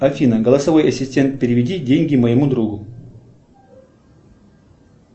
афина голосовой ассистент переведи деньги моему другу